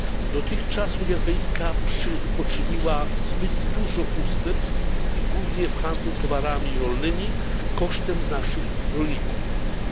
Dotychczas Unia Europejska poczyniła zbyt dużo ustępstw, głównie w handlu towarami rolnymi, kosztem naszych rolników, ale nie może się...